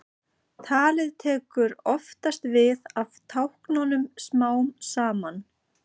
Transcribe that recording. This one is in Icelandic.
Talið tekur oftast við af táknunum smám saman.